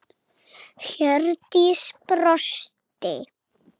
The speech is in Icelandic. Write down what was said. Hjördís brosti.